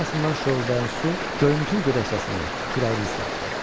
Şlyapasından şoruldayan su göyümtül gödəkcəsini, kürəyini islatdı.